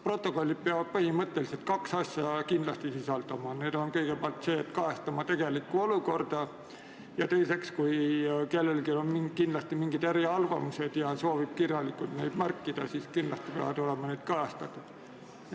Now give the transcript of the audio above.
Protokollid peavad kindlasti sisaldama kahte asja: esiteks peavad need kajastama tegelikku olukorda ja teiseks, kui kellelgi on mingid eriarvamused ja ta soovib need kirjalikult ära märkida, siis kindlasti peavad ka need olema kajastatud.